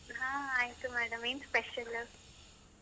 ಹಾ ಆಯ್ತು madam ಏನ್ special?